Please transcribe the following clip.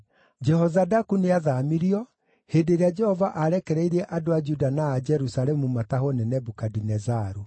Jehozadaku nĩathaamirio hĩndĩ ĩrĩa Jehova aarekereirie andũ a Juda na a Jerusalemu matahwo nĩ Nebukadinezaru.